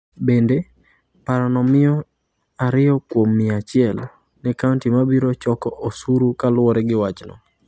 Bende, parono miyo 2 kuom mia achiel ne kaunti ma biro choko osuru kaluwore gi wachno.